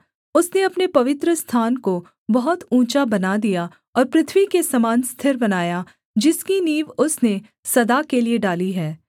उसने अपने पवित्रस्थान को बहुत ऊँचा बना दिया और पृथ्वी के समान स्थिर बनाया जिसकी नींव उसने सदा के लिये डाली है